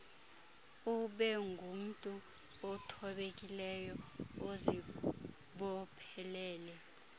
ubengumntu othobekileyo ozibophelele